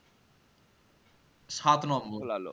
সাত নম্বর